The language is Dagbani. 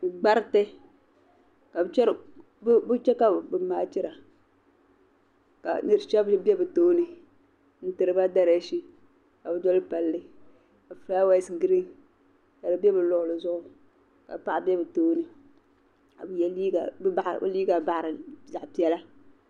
Gbariti ka bi chɛ kabi machida ka yu pɛbiri be bi tooni n tiri ba dariction kabi doli pali kafulawes green ka di be biluɣili zuɣu ka paɣa be bitooni kabi ye liiga baɣiri zaɣi pɛla.